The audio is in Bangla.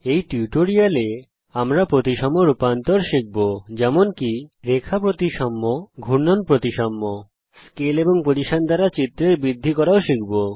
এই টিউটোরিয়ালে আমরা প্রতিসম রূপান্তর শিখব যেমন কি রেখা প্রতিসাম্য ঘূর্ণন প্রতিসাম্য এছাড়াও স্কেল এবং position এর দ্বারা চিত্রের বৃদ্ধি করাও শিখব